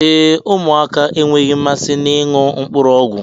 Ee, ụmụaka enweghị mmasị na ịṅụ mkpụrụ ọgwụ